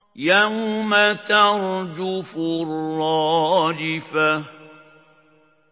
يَوْمَ تَرْجُفُ الرَّاجِفَةُ